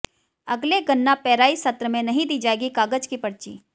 अगले गन्ना पेराई सत्र में नहीं दी जाएगी कागज की पर्ची